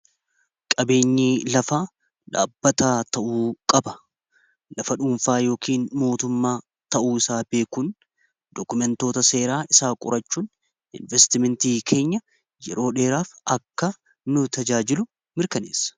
Qabeenyi lafaa dhaabbata ta'uu qaba. Lafa dhuunfaa yookin mootummaa ta'uu isaa beekuun dokumentoota seeraa isaa qorachuun investimentii keenya yeroo dheeraaf akka nu tajaajilu mirkaneessa.